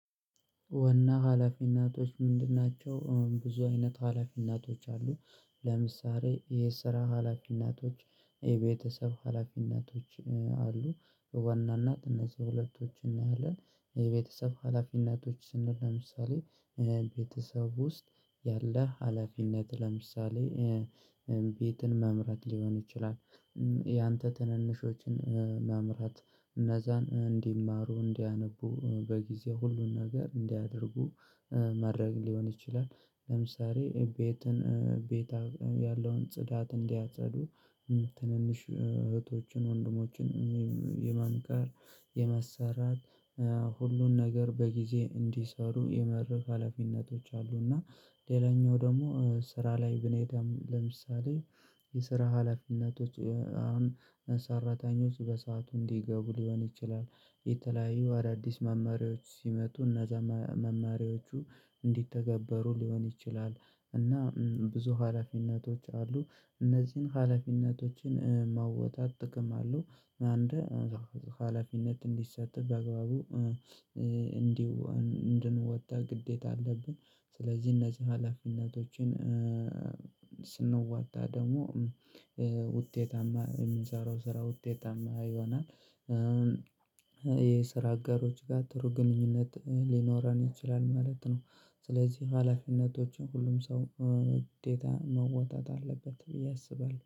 ዋና ሀላፊነቶች ምንድን ናቸው? ብዙ አይነት ሀላፊነቶች አሉ። ለምሳሌ የስራ ሀላፊነቶች የቤተሰብ ሀላፊነቶች አሉ። በዋናነት እነዚህ ሁለቶችን እናያለን። የቤተሰብ ሀላፊነቶች ስንል ለምሳሌ ቤተሰብ ውስጥ ያለ ሀላፊነት ለምሳሌ ቤትን መምራት ሊሆን ይችላል። ያንተ ትንንሾችን መምራት እነዛን እንዲማሩ እንዲያነቡ በጊዜ ሁሉን ነገር እንዲያደርጉ ማድረግ ሊሆን ይችላል። ለምሳሌ ቤትን ቤታ ያለውን ጽዳት እንዲያጸዱ ትንንሽ እህቶችን ወንድሞችን የማንጋር የመሰራት ሁሉን ነገር በጊዜ እንዲሰሩ የመርፍ ሀላፊነቶች። አሉና ሌላኛው ደግሞ ስራ ላይ ብንሄድም ለምሳሌ የስራ ሀላፊነቶች አሁን ሰራተኞች በሰአቱ እንዲገቡ ሊሆን ይችላል። የተለያዩ አዳዲስ መማሪያዎች ሲመጡ እነዛ መማሪያዎቹ እንዲተገበሩ ሊሆን ይችላል። እና ብዙ ሀላፊነቶች አሉ እነዚህን ሀላፊነቶችን ማውጣት ጥቅም አለው። አንድ ሀላፊነት እንዲሰጥ በግባቡ በአግባቡ እንዲሁ እንድንወጣ ግዴታ አለብን። ስለዚህ እነዚህ ሀላፊነቶችን ስንወጣ ደግሞ ውጤታማ የምንሰራው ስራ ውጤታማ ይሆናል። ይሄ ስራ አጋሮች ጋር ጥሩ ግንኙነት ሊኖረን ይችላል ማለት ነው። ስለዚህ ሀላፊነቶችን ሁሉም ሰው ውጤት መወጣት አለበት ብዬ አስባለሁ